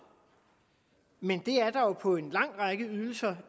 men det er der jo på en lang række ydelser